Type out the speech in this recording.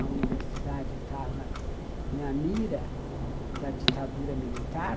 A universidade estava na mira da ditadura militar.